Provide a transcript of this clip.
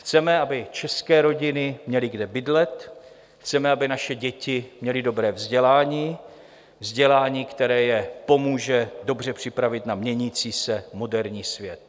Chceme, aby české rodiny měly kde bydlet, chceme, aby naše děti měly dobré vzdělání - vzdělání, které je pomůže dobře připravit na měnící se moderní svět.